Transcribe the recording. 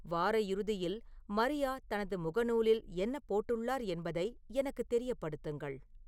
வார இறுதியில் மரியா தனது முகநூலில் என்ன போட்டுள்ளார் என்பதை எனக்குத் தெரியப்படுத்துங்கள்